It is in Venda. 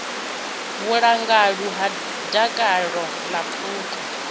vhulanguli ha mutakalo wa phukha